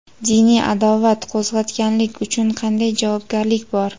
Diniy adovat qo‘zg‘atganlik uchun qanday javobgarlik bor?.